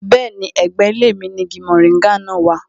Bẹ́ẹ̀ni, ẹ̀gbẹ́ ilé mi ni igi moringa náà wà